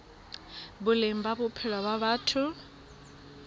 boleng ba bophelo ba batho